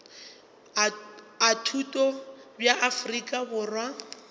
a thuto bja afrika borwa